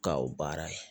Ka o baara ye